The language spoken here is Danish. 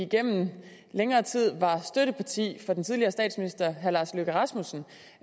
igennem længere tid var støtteparti for den tidligere statsminister herre lars løkke rasmussen